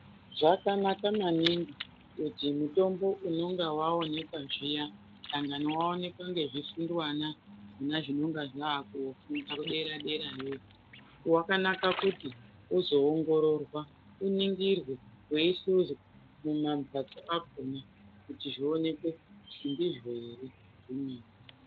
Zvakanaka maningi kuti zvimutombo unonga vaoneka zviya dangwani vaoneka nezvifunduvana zvinonga zvakofunda kudera-derayo. Vakanaka kuti uzoongororwa uningirwe veihluzwa mumamhatso akona kuti zvionekwe kuti ndizvo ere zvemene.